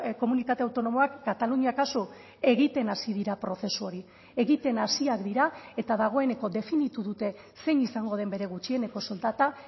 komunitate autonomoak katalunia kasu egiten hasi dira prozesu hori egiten hasiak dira eta dagoeneko definitu dute zein izango den bere gutxieneko soldata